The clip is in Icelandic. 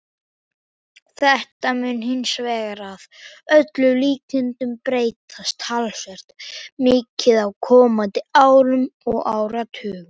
Þetta mun hins vegar að öllum líkindum breytast talsvert mikið á komandi árum og áratugum.